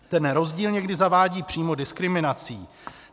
Ten rozdíl někdy zavání přímo diskriminací.